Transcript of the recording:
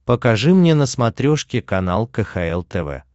покажи мне на смотрешке канал кхл тв